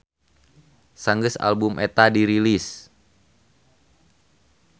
Sanggeus album eta dirilis.